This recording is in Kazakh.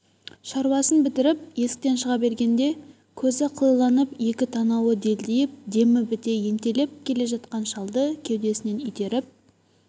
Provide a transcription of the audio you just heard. шаруасын бітіріп есіктен шыға бергенде көзі қылиланып екі танауы делдиіп демі біте ентелеп келе жатқан шалды кеудесінен итеріп